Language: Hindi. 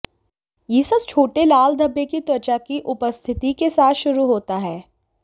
यह सब छोटे लाल धब्बे की त्वचा की उपस्थिति के साथ शुरू होता है